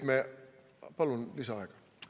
Palun lisaaega!